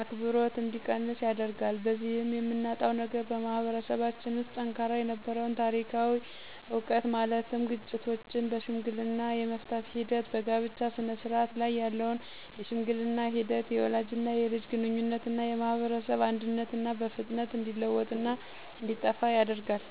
አክብሮት እንዲቀንስ ያደርጋል። በዚህም የምናጣው ነገር በማህበረሰባችን ውስጥ ጠንካራ የነበረውን ታሪካዊ ዕውቀት ማለትም ግጭቶችን በሽምግልና የመፍታት ሂደት፣ በጋብቻ ስነስርዓት ላይ ያለውን የሽምግልና ሂደት፣ የወላጅና የልጅ ግንኙነትና የማህበረሰብ አንድነትና በፍጥነት እንዲለወጥና እንዲጠፋ ያደርጋል።